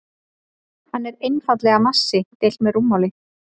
Hann er einfaldlega massi deilt með rúmmáli.